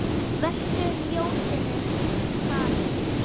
Vertu ljósinu falinn.